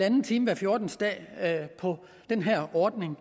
time hver fjortende dag på den her ordning